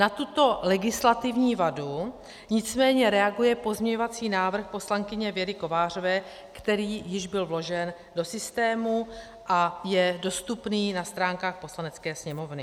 Na tuto legislativní vadu nicméně reaguje pozměňovací návrh poslankyně Věry Kovářové, který již byl vložen do systému a je dostupný na stránkách Poslanecké sněmovny.